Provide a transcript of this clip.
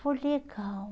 Foi legal.